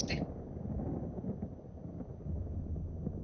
Flestir þeirra eru úr basalti.